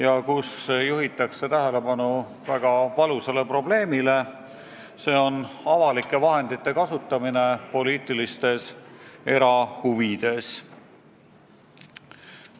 Auditi kokkuvõttes juhitakse tähelepanu väga valusale probleemile: see on avalike vahendite kasutamine poliitilistes erahuvides.